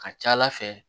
Ka ca ala fɛ